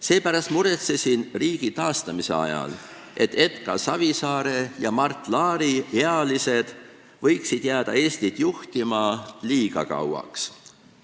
Seepärast muretsesin riigi taastamise ajal, et Edgar Savisaare ja Mart Laari ealised võiksid jääda Eestit juhtima liiga kauaks.